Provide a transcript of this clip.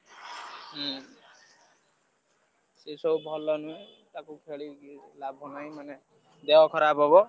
ହୁଁ ସେ ସବୁ ଭଲ ନୁହେଁ ତାକୁ ଖେଳିକି କିଛି ଲାଭ ନାହିଁ ମାନେ ଦେହ ଖରାପ ହବ।